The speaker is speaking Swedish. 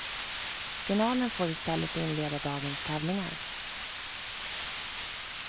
Finalen får istället inleda dagens tävlingar.